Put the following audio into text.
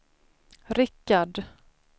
Rickard